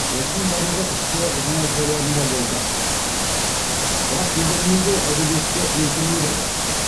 осының барлығы ішкі жанайқайларында болды бірақ дегенімен де әдебиетті өлтірмеді ғой